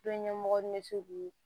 Dɔnɲɛmɔgɔ ni bɛ se k'u ye